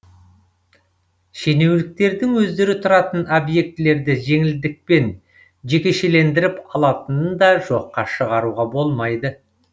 шенеуніктердің өздері тұратын объектілерді жеңілдікпен жекешелендіріп алатынын да жоққа шығаруға болмайды